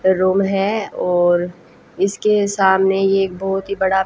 room है और इसके सामने ये बहोत ही बड़ा--